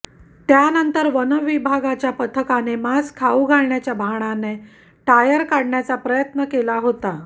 त्यानंतर वनविभागाच्या पथकाने मांस खाऊ घालण्याच्या बहाण्याने टायर काढण्याचा प्रयत्न केला होता